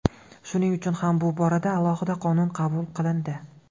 Shuning uchun ham bu borada alohida qonun qabul qilindi.